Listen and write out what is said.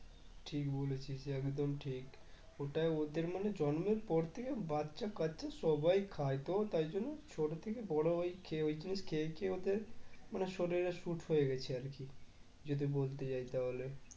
ঠিক বলেছিস একদম ঠিক ওটাই ওদের মানে জন্মের পর থেকে বাচ্চা কাচ্চা সবাই খাই তো তাই জন্য ছোট থেকে বড়ো হয় খেয়ে ওই জিনিস খেয়ে খেয়ে ওদের মানে শরীরে suit হয়ে গেছে আরকি যদি বলতে চাই তাহলে